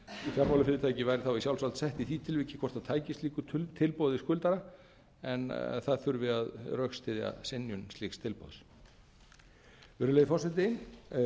fjármálafyrirtæki væri þá í sjálfsvald sett í því tilviki hvort það tæki slíku tilboði skuldara en það þurfi að rökstyðja synjun slíks tilboðs virðulegi forseti